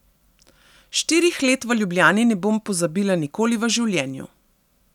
Štirih let v Ljubljani ne bom pozabila nikoli v življenju.